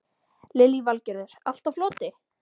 Lillý Valgerður: Allt á floti?